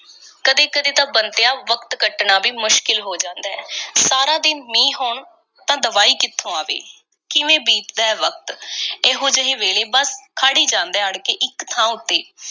ਕਦੀ-ਕਦੀ ਤਾਂ, ਬੰਤਿਆ, ਵਕਤ ਕੱਟਣਾ ਵੀ ਮੁਸ਼ਕਿਲ ਹੋ ਜਾਂਦਾ ਐ। ਸਾਰਾ ਦਿਨ ਮੀਂਹ ਹੋਣ ਤਾਂ ਦਵਾਈ ਕਿੱਥੋਂ ਆਵੇ? ਕਿਵੇਂ ਬੀਤ ਦਾ ਐ ਵਕਤ, ਇਹੋ-ਜਿਹੇ ਵੇਲੇ? ਬੱਸ, ਖੜ੍ਹ ਈ ਜਾਂਦਾ ਐ ਅੜ ਕੇ, ਇੱਕ ਥਾਂ ਉੱਤੇ।